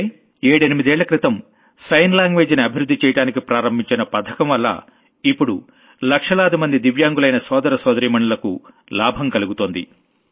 అంటే ఏడెనిమిదేళ్లక్రితం sign language ని అభివృద్ధి చెయ్యడానికి ప్రారంభించిన పథకంవల్ల ఇప్పుడు లక్షలాదిమంది దివ్యాంగులైన సోదరసోదరీమణులకు లాభం కలుగుతోంది